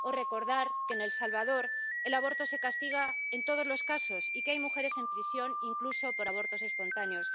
O recordar que en El Salvador el aborto se castiga en todos los casos y que hay mujeres en prisión, incluso por abortos espontáneos.